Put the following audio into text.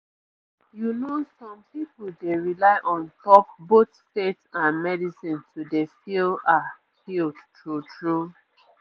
you know some pipu dey rely on top both faith and medicine to dey feel ah healed true true